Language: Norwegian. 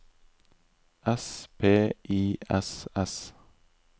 S P I S S